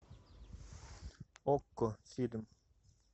окко фильм